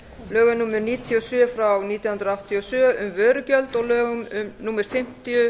lögum númer níutíu og sjö nítján hundruð áttatíu og sjö um vörugjald og lögum númer fimmtíu